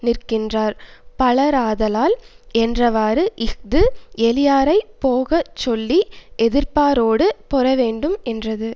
நிற்கின்றார் பலராதலால் என்றவாறு இஃது எளியாரைப் போக சொல்லி எதிர்ப்பாரோடு பொரவேண்டும் என்றது